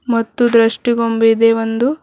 ಮತ್ತು ದೃಷ್ಟಿ ಬೊಂಬೆ ಇದೆ ಒಂದು.